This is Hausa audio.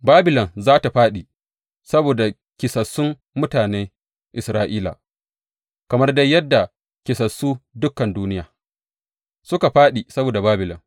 Babilon za tă fāɗi saboda kisassun mutanen Isra’ila, kamar dai yadda kisassu dukan duniya suka fāɗi saboda Babilon.